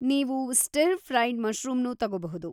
ನೀವು ಸ್ಟಿರ್-ಫ್ರೈಡ್‌ ಮಶ್ರೂಮ್‌ನೂ ತಗೋಬಹುದು.